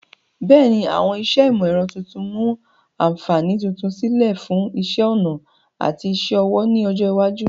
Bẹ́ẹ̀ni, àwọn iṣẹ́ ìmọ̀ ẹ̀rọ tuntun mu àǹfààní tuntun sílẹ̀ fún iṣẹ́ ọnà àti iṣẹ́ ọwọ́ ní ọjọ́ iwájú.